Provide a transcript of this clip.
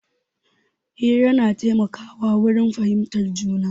Hira na taimaka wa wurin fahimtar juna